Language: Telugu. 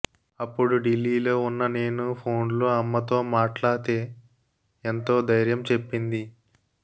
అప్పుడు ఢిల్లీలో ఉన్న నేను ఫోన్లో అమ్మతో మాట్లాతే ఎంతో ధైర్యం చెప్పింది